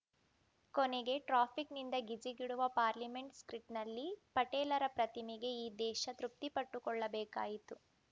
ಕೊನೆಗೆ ಟ್ರಾಫಿಕ್‌ನಿಂದ ಗಿಜಿಗುಡುವ ಪಾರ್ಲಿಮೆಂಟ್‌ ಸ್ಟ್ರೀಟ್‌ನಲ್ಲಿ ಪಟೇಲರ ಪ್ರತಿಮೆಗೆ ಈ ದೇಶ ತೃಪ್ತಿಪಟ್ಟುಕೊಳ್ಳಬೇಕಾಯಿತು